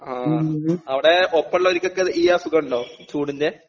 ആ അവിടെ ഒപ്പള്ളോർക്കൊക്കിത് ഈ അസുഖണ്ടോ ചൂടിന്റെ.